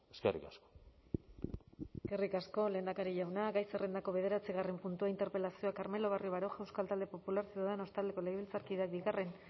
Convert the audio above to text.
eskerrik asko eskerrik asko lehendakari jauna gai zerrendako bederatzigarren puntua interpelazioa carmelo barrio baroja euskal talde popular ciudadanos taldeko legebiltzarkideak bigarren